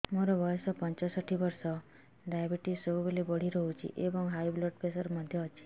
ମୋର ବୟସ ପଞ୍ଚଷଠି ବର୍ଷ ଡାଏବେଟିସ ସବୁବେଳେ ବଢି ରହୁଛି ଏବଂ ହାଇ ବ୍ଲଡ଼ ପ୍ରେସର ମଧ୍ୟ ଅଛି